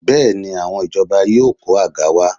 Bẹ́ẹ̀ni, àwọn ìjọba yóò kó àga wá